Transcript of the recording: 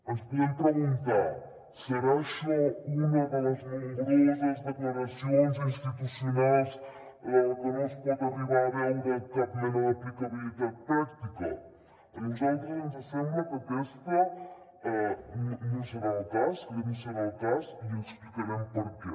ens podem preguntar serà això una de les nombroses declaracions institucionals de la que no es pot arribar a veure cap mena de aplicabilitat pràctica a nosaltres ens sembla que aquest no serà el cas i explicarem per què